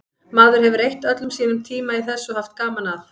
Maður hefur eytt öllum sínum tíma í þessu og haft gaman að.